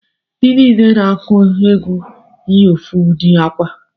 Ndi niile na-aku egwu yi ofu udi akwa